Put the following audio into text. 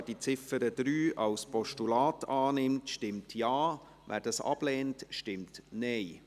Wer die Ziffer 3 als Postulat annimmt, stimmt Ja, wer dies ablehnt, stimmt Nein.